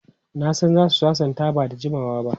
Na san za su sasanta ba da jimawa ba.